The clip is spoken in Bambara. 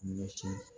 Ɲɛci